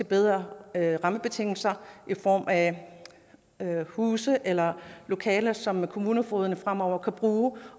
bedre rammebetingelser i form af huse eller lokaler som kommunefogederne fremover kan bruge